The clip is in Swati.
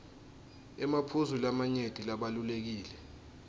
emaphuzu lamanyenti labalulekile